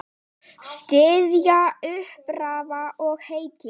Styðja, uppörva og hvetja.